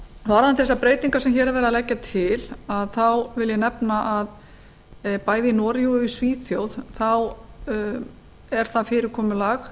varðandi þessar breytingar sem hér er verið að leggja til þá vil ég nefna að bæði í noregi og í svíþjóð er það fyrirkomulag